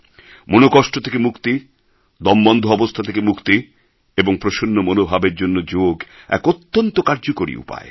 মনোকষ্ট থেকে মুক্তি দমবন্ধ অবস্থা থেকে মুক্তি এবং প্রসন্ন মনোভাবের জন্য যোগ এক অত্যন্ত কার্যকরী উপায়